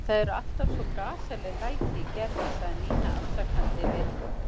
Það eru alltaf svo gasaleg læti í Gerði sagði Nína afsakandi við